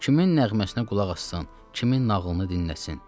Kimin nəğməsinə qulaq assın, kimin nağılını dinləsin.